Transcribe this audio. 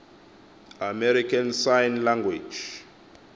american sign language